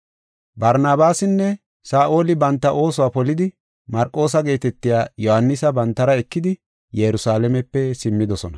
Barnabaasinne Saa7oli banta oosuwa polidi Marqoosa geetetiya Yohaanisa bantara ekidi Yerusalaamepe simmidosona.